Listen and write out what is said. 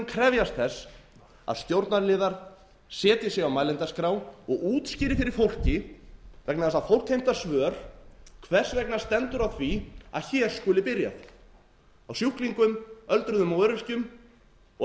krefjast þess að stjórnarliðar setji sig á mælendaskrá og útskýri fyrir fólki vegna þess að fólk heimtar svör hvernig stendur á því að hér skuli byrjað á sjúklingum öldruðum og öryrkjum og